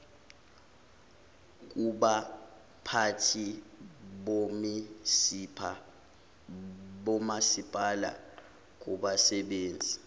kubaphathi bomasipala kubasebenzi